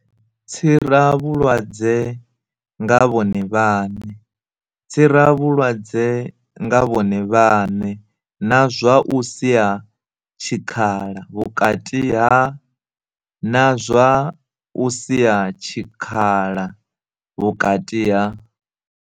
Tsiravhulwadze nga vhone vhaṋe tsiravhulwadze nga vhone vhaṋe na zwa u sia tshikhala vhukati ha na zwa u sia tshikhala vhukati ha